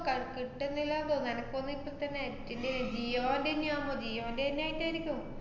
ക~ കിട്ടുന്നില്ലാന്ന് തോന്ന്~ എനക്ക് തോന്ന്ന്ന് ഇപ്പത്തന്നെ net ന്‍റേ ജിയോന്‍റന്നെയാവുമ്പ ജിയോന്‍റെന്നെ ആയിട്ടാര്ക്കും.